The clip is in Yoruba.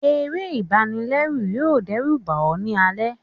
eré ibànilẹrù yọọ dẹruba ọ ni alẹ